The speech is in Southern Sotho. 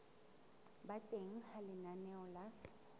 ba teng ha lenaneo la